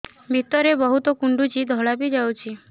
ଭିତରେ ବହୁତ କୁଣ୍ଡୁଚି ଧଳା ବି ଯାଉଛି